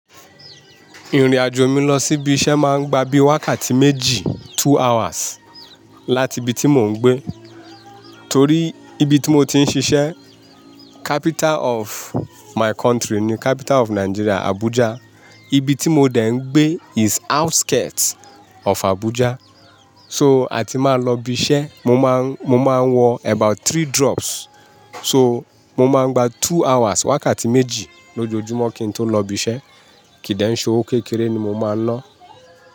Ìrìn-àjò mi lọ sí ibi iṣẹ́ máa ń gba bíi wákàtí méjì, two hours láti ibi tí mò ń gbé. Torí ibi tí mo ti ń ṣiṣẹ́ capital of my country ni capital of Nigeria, Abuja. Ibi tí mo dẹ̀ ń gbé is outskirt of Abuja. So, àti máa lọ ibi iṣẹ́, mo máa, mo máa ń wọ about three drops. So, mo máa ń gba two hours, wákàtí méjì lójoojúmọ́ kí n tó lọ ibi iṣẹ́. Kí dẹ̀ ń ṣe owó kékeré ni mo máa ń lọ.